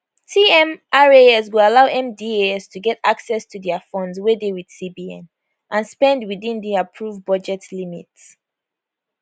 tmras go allow mdas to get access to dia funds wey dey wit cbn and spend within di approve budget limit